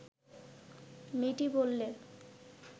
মেয়েটি বললে